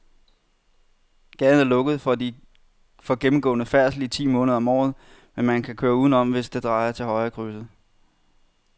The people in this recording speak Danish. Gaden er lukket for gennemgående færdsel ti måneder om året, men man kan køre udenom, hvis man drejer til højre i krydset.